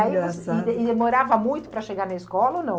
é engraçado. E e demorava muito para chegar na escola ou não?